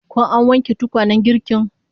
Ko an wanke tukwanen girkin?